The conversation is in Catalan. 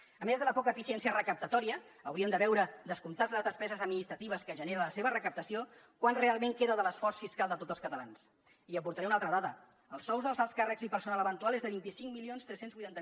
a més de la poca eficiència recaptatòria hauríem de veure descomptades les despeses administratives que genera la seva recaptació quant realment queda de l’esforç fiscal de tots els catalans i hi aportaré una altra dada els sous dels alts càrrecs i personal eventual és de vint cinc mil tres cents i vuitanta